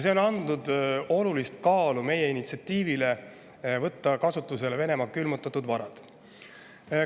See on andnud olulist kaalu meie initsiatiivile võtta kasutusele Venemaa külmutatud varad.